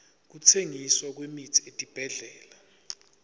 kutsengiswa kwemitsi etibhedlela